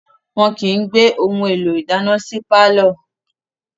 Wọn kìí gbé ohun èlò ìdáná sí pàlọ́